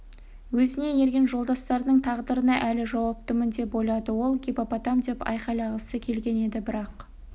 өзіне ерген жолдастарының тағдырына әлі жауаптымын деп ойлады ол гиппопотам деп айқайлағысы келген еді бірақ